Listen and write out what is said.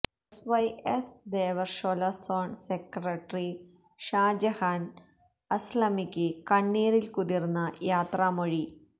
S Y S Devarshola zone secretary Shajahan അസ്ലമിക്ക് കണ്ണീരില്കുതിര്ന്ന യാത്രാമൊഴി